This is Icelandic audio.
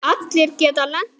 Allir geta lent í því.